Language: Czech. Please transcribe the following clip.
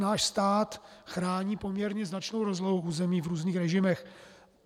Náš stát chrání poměrně značnou rozlohu území v různých režimech.